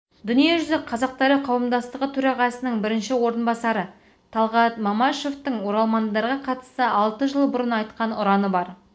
дүниежүзі қазақтары қауымдастығы төрағасының бірінші орынбасары талғат мамашевтың оралмандарға қатысты алты жыл бұрын айтқан ұрғаным бар